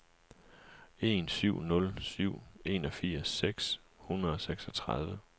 en syv nul syv enogfirs seks hundrede og seksogtredive